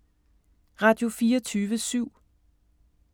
Radio24syv